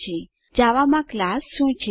હવે ચાલો જોઈએ જાવા માં ક્લાસ શું છે